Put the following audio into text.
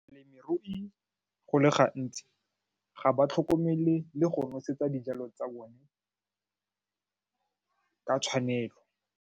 Balemirui go le gantsi ga ba tlhokomele le go nosetsa dijalo tsa bone ka tshwanelo.